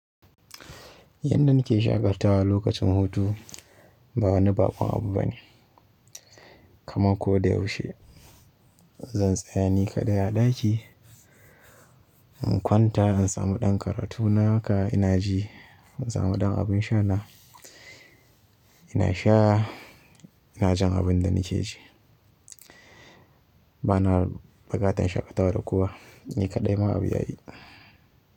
Yanda nake shaƙatawa lokacin hutu ba wani baƙon abu bane. Kamar ko da yaushe, zan tsaya ni kaɗai a ɗaki. In kwanta, in samu ɗan karatu na haka ina ji, in samu ɗan abin sha na ina sha, ina jin abin da nike ji. Bana buƙatar shaƙatawa da kowa, ni kaɗai ma abu yayi.